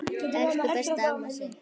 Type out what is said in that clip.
Elsku besta amma Sif.